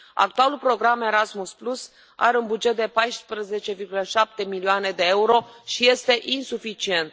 Actualul program Erasmus are un buget de 14,7 milioane de euro și este insuficient.